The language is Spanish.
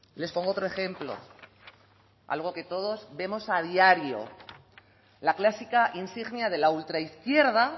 les pongo otro ejemplo algo que todos vemos a diario la clásica insignia de la ultraizquierda